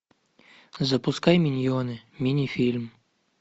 запускай миньоны мини фильм